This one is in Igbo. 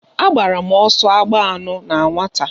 Agbara m ọsọ agba anọ na nwata.